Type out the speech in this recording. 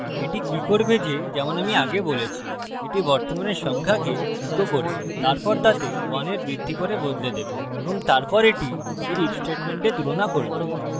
এটি কি করবে যে যেমন আমি আগে বলেছি এটি বর্তমানের সংখ্যাকে echo করবে তারপর তাতে 1 এর বৃদ্ধি করে বদলে দেবে এবং তারপর এটি এর if statement তুলনা করবে